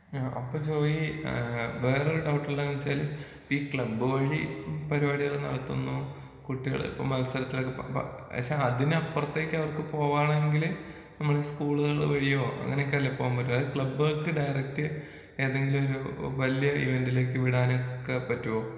ആ അപ്പൊ ജോയ് ഏഹ് വേറൊരു ഡൗട്ട് ഉള്ളത് എന്ന് വെച്ചാൽ ഈ ക്ലബ്ബ് വഴി പരിപാടികൾ നടത്തുന്നു കുട്ടികൾ മത്സരത്തിനൊക്കെ പ പ പക്ഷേ അതിനപ്പുറത്തേക്ക് അവർക്ക് പോവാണെങ്കിൽ നമ്മളെ ഈ സ്കൂളുകള് വഴിയോ അങ്ങനെയൊക്കെയല്ലേ പോവാൻ പറ്റുള്ളൂ? അത് ക്ലബ്ബുകൾക്ക് ഡയറക്റ്റ് ഏതെങ്കിലും ഒരു വലിയ ഇവന്റിലേക്ക് വിടാൻ ഒക്കെ പറ്റോ?